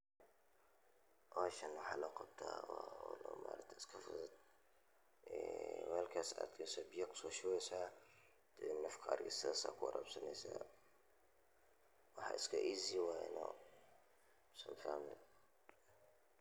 Howshan waxaa loo qabtaa waa howl iska fudud, weelka ayaa biya kusoo shubeysa ariga saas ayaa u warabineysa.